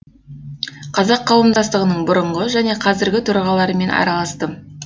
қазақ қауымдастығының бұрынғы және қазіргі төрағаларымен араластым